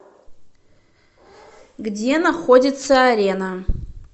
где находится арена